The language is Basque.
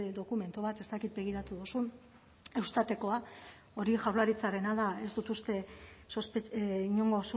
dokumentu bat ez dakit begiratu duzun eustatekoa hori jaurlaritzarena da ez dut uste inongo